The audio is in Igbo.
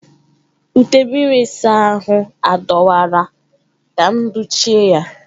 Ute mmiri ịsa ahụ adọwara ka m dochie ya.